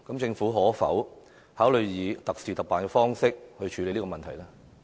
政府可否考慮以特事特辦的方式處理該問題？